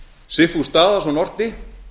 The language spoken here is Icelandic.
sigfús daðason orti